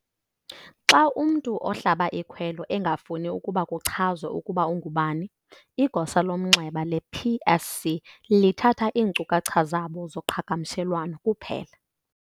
Xa umntu ohlaba ikhwelo engafuni ukuba kuchazwe ukuba ungubani, igosa lomnxeba le-PSC lithatha iinkcukacha zabo zoqhagamshelwano kuphela.